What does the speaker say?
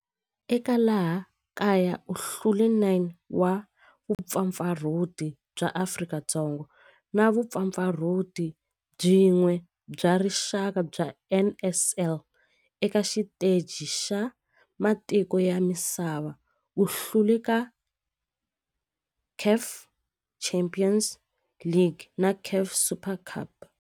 Eka laha kaya u hlule 9 wa vumpfampfarhuti bya Afrika-Dzonga na vumpfampfarhuti byin'we bya rixaka bya NSL. Eka xiteji xa matiko ya misava, u hlule eka CAF Champions League na CAF Super Cup.